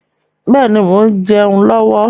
Bẹ́ẹ̀ni, mo ń jẹun lọ́wọ́.